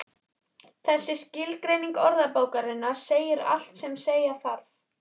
Þessi skilgreining orðabókarinnar segir allt sem segja þarf.